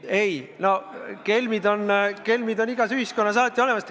Ei, no kelme on alati igas ühiskonnas olnud.